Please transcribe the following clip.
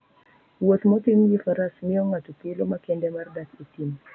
Wuoth motim gi Faras miyo ng'ato thuolo makende mar dak e thim.